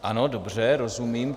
Ano, dobře, rozumím.